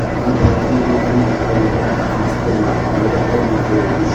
Gatholeki nĩguo kanitha ũrĩa wĩ Akristiano arĩa aingĩ bũrũri-inĩ.